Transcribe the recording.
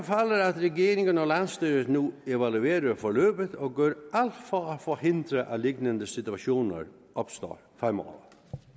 regeringen og landsstyret nu evaluerer forløbet og gør alt for at forhindre at lignende situationer opstår fremover